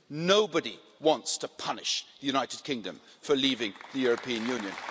Nobody wants to punish the United Kingdom for leaving the European Union.